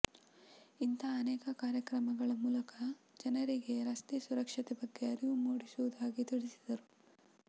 ಇಂತಾ ಅನೇಕ ಕಾರ್ಯಕ್ರಮಗಳ ಮೂಲಕ ಜನರಿಗೆ ರಸ್ತೆ ಸುರಕ್ಷತೆ ಬಗ್ಗೆ ಅರಿವು ಮೂಡಿಸುವುದಾಗಿ ತಿಳಿಸಿದರು